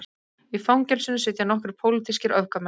Í fangelsinu sitja nokkrir pólitískir öfgamenn